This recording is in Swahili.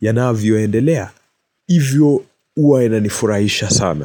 yanavyoendelea. Hivyo huwa inanifurahisha sana.